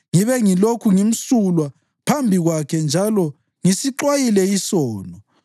Ngibe ngilokhu ngimsulwa phambi kwakhe njalo ngisixwayile isono.